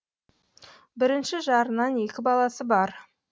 бірінші жарынан екі баласы бар